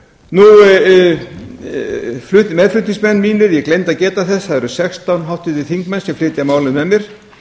mínir ég gleymdi að geta þess það eru sextán háttvirtir þingmenn sem flytja málið með mér